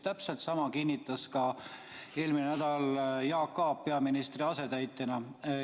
Täpselt sama kinnitas eelmisel nädalal Jaak Aab peaministri asetäitjana.